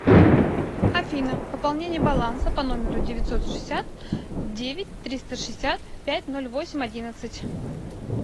афина пополнение баланса по номеру девятьсот шестьдесят девять триста шестьдесят пять ноль восемь одиннадцать